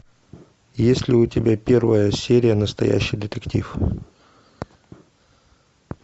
есть ли у тебя первая серия настоящий детектив